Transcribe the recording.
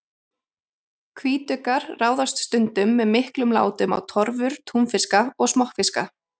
Hvítuggar ráðast stundum með miklum látum á torfur túnfiska og smokkfiska.